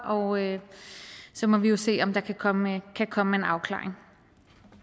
og så må vi jo se om der kan komme kan komme en afklaring